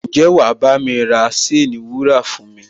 Ǹjẹ́ wà á bámi ra ṣéènì wúrà fún mi?